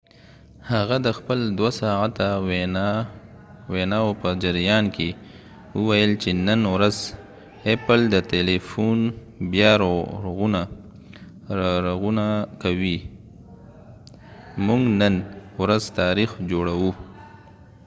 هغه د خپل ۲ ساعته ویناو په جریان کې وویل چې نن ورځ ايپل د تيلیفون بیا رغونه کوي، موږ نن ورځ تاریخ جوړوو"۔